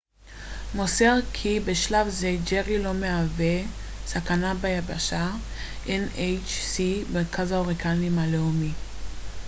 מרכז ההוריקנים הלאומי nhc מוסר כי בשלב זה ג'רי לא מהווה סכנה ביבשה